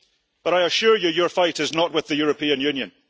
but I assure you, your fight is not with the European Union.